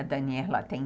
A Daniela tem